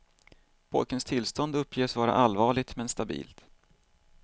Pojkens tillstånd uppges vara allvarligt men stabilt.